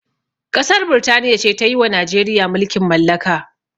Ƙasar birtaniya ce tayiwa najeriya mulkin mallaka